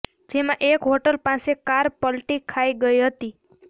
જેમાં એક હોટલ પાસે કાર પલટી ખાઈ ગઈ હતી